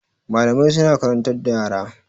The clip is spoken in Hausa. Malamai sun karantar da yara.